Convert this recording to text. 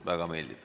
Väga meeldiv.